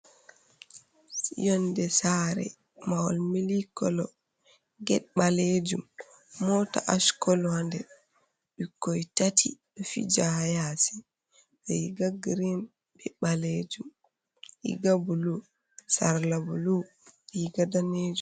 Yonɗe sare mahol milik kolo. Get ɓalejum mota ash kolo ha nɗer. Ɓikkoi tati ɓe fija ha yasi, riga girin, ɓe ɓalejum, riga ɓulu, sarla ɓulu, riga nɗanejum.